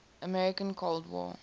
american cold war